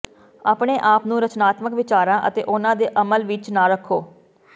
ਆਪਣੇ ਆਪ ਨੂੰ ਰਚਨਾਤਮਕ ਵਿਚਾਰਾਂ ਅਤੇ ਉਨ੍ਹਾਂ ਦੇ ਅਮਲ ਵਿੱਚ ਨਾ ਰੱਖੋ